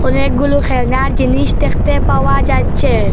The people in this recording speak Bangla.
অনেকগুলো খেলনার জিনিস দেখতে পাওয়া যাচ্ছে।